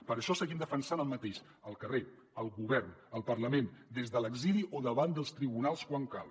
per això seguim defensant el mateix al carrer al govern al parlament des de l’exili o davant dels tribunals quan cal